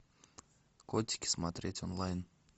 котики смотреть онлайн